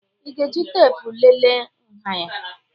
Ị ga-eji teepu lelee nha ya?